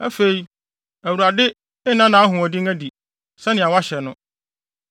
“Afei Awurade nna nʼahoɔden adi, sɛnea wahyɛ no: